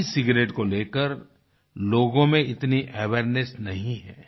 ई cigarette को लेकर लोगों में इतनी अवेयरनेस नहीं है